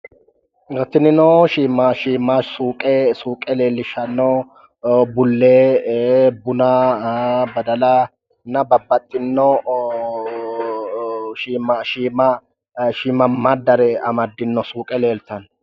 Tinino shiima suqe leelishanno bulee, buna, badalanna babbaxino shiimadare amaddino suuqe leelitanno